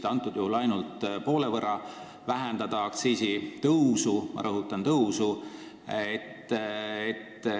Te piirdusite ainult poole võrra väiksema aktsiisitõusuga, aga ma rõhutan: ikkagi tõusuga.